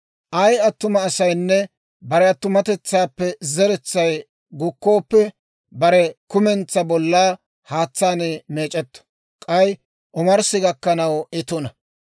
« ‹Ay attuma asaynne bare attumatetsaappe zeretsay gukkooppe, bare kumentsaa bollaa haatsaan meec'etto; k'ay omarssi gakkanaw I tuna.